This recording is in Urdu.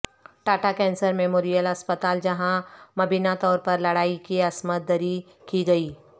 ٹاٹا کینسر میموریل ہسپتال جہاں مبینہ طور پر لڑکی کی عصمت دری کی گئی